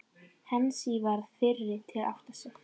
Heinz varð fyrri til að átta sig.